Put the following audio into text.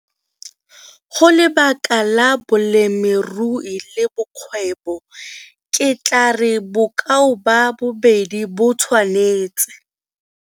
Go lebaka la bolemirui le bokgwebo, ke tlaa re bokao ba bobedi bo tshwanetse.